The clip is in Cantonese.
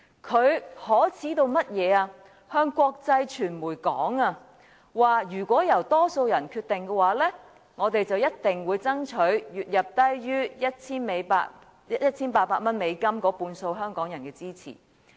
他向國際傳媒表示如果由多數人決定，他們便一定會爭取月入低於 1,800 美元的半數香港人的支持。